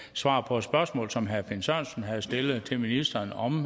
svar på et spørgsmål som herre finn sørensen havde stillet til ministeren om